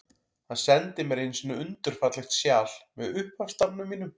Hann sendi mér einu sinni undur fallegt sjal, með upphafsstafnum mínum.